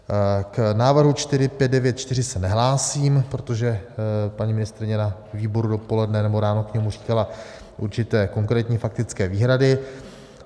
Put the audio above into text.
K návrhu 4594 se nehlásím, protože paní ministryně na výboru dopoledne, nebo ráno k němu říkala určité konkrétní faktické výhrady.